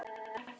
Og hreinn!